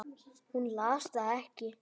Hún las það ekki.